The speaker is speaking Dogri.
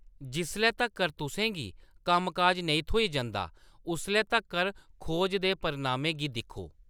जिसलै तक्कर तुसें गी कम्म-काज नेईं थ्होई जंदा, उसलै तक्कर खोज दे परिणामें गी दिक्खो।